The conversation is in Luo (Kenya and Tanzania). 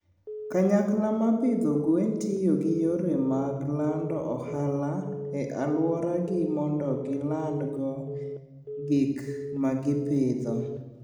Kanyakla ma pidho gwen tiyo gi yore mag lando ohala e alworagi mondo gilandgo gik ma gipidho.